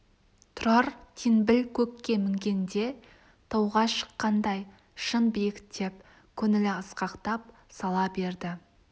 тұрар теңбіл көкке мінгенде тауға шыққандай шын биіктеп көңілі асқақтап сала берді